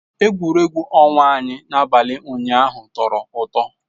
Egwuregwu ọnwa anyị n'abalị ụnyaahụ tọrọ ụtọ